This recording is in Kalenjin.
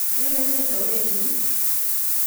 Kele inye towet nyuni?